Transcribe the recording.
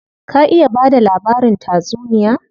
Ka iya bada labarin tatsuniya?